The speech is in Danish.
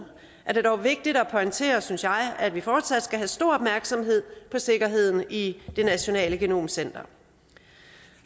er det dog vigtigt at pointere synes jeg at vi fortsat skal have stor opmærksomhed på sikkerheden i nationalt genomcenter